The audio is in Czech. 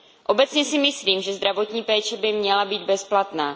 Obecně si myslím, že zdravotní péče by měla být bezplatná.